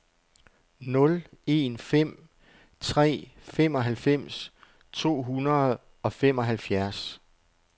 nul en fem tre femoghalvfems to hundrede og femoghalvfjerds